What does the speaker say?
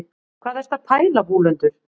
hvað ertu að pæla vúlundur